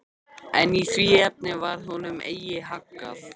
En í því efni varð honum eigi haggað.